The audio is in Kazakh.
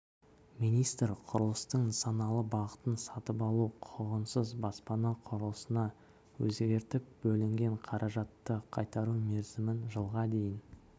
министр құрылыстың нысаналы бағытын сатып алу құқығынсыз баспана құрылысына өзгертіп бөлінген қаражатты қайтару мерзімін жылға дейін